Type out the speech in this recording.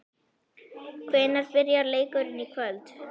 Hvenær byrjar leikurinn í kvöld?